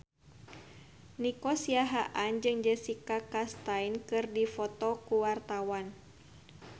Nico Siahaan jeung Jessica Chastain keur dipoto ku wartawan